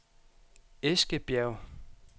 Eskebjerg